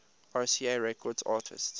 rca records artists